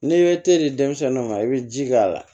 N'i ye te di denmisɛnniw ma i bɛ ji k'a la